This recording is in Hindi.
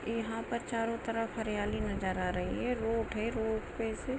यहाँ पर चारो तरफ हरियाली नजर आ रही है रोड है रोड पे से --